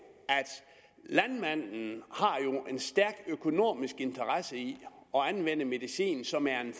at landmanden har en stærkt økonomisk interesse i at anvende medicin som er en